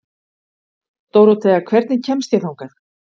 Dórothea, hvernig kemst ég þangað?